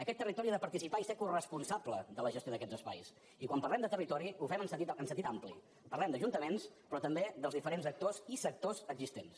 aquest territori ha de participar i ser coresponsable de la gestió d’aquests espais i quan parlem de territori ho fem en sentit ampli parlem d’ajuntaments però també dels diferents actors i sectors existents